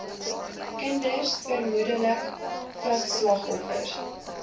kinders vermoedelik vigsslagoffers